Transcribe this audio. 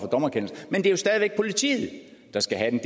dommerkendelse men det er stadig væk politiet der skal have den